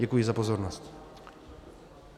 Děkuji za pozornost.